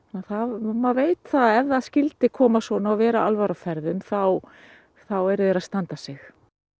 maður veit það að ef það skyldi koma svona og vera alvara á ferðum þá eru þeir að standa sig